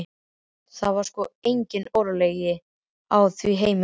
Það var sko engin óregla á því heimili.